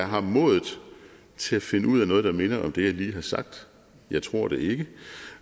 har modet til at finde ud af noget der minder om det jeg lige har sagt jeg tror det ikke